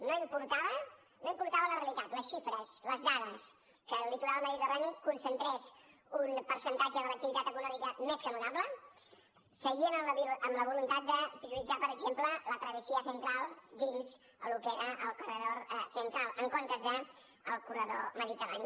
no importava la realitat les xifres les dades que el litoral mediterrani concentrés un percentatge de l’activitat econòmica més que notable seguien amb la voluntat de prioritzar per exemple la travesía central dins el que era el corredor central en comptes del corredor mediterrani